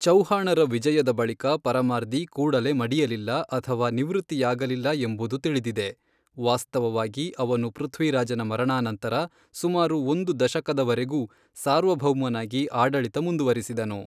ಚೌಹಾಣರ ವಿಜಯದ ಬಳಿಕ ಪರಮಾರ್ದಿ ಕೂಡಲೇ ಮಡಿಯಲಿಲ್ಲ ಅಥವಾ ನಿವೃತ್ತಿಯಾಗಲಿಲ್ಲ ಎಂಬುದು ತಿಳಿದಿದೆ, ವಾಸ್ತವವಾಗಿ, ಅವನು ಪೃಥ್ವಿರಾಜನ ಮರಣಾನಂತರ ಸುಮಾರು ಒಂದು ದಶಕದವರೆಗೂ ಸಾರ್ವಭೌಮನಾಗಿ ಆಡಳಿತ ಮುಂದುವರಿಸಿದನು.